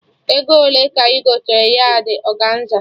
Ego ole ka ị gotere yardị ọganza?